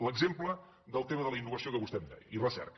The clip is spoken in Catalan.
l’exemple del tema de la innovació que vostè em deia i recerca